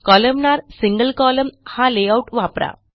columnar single column हा layout वापरा